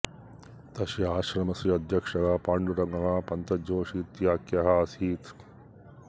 तस्य आश्रमस्य अध्यक्षः पाण्डुरङ्ग पंत जोशी इत्याख्यः आसीत्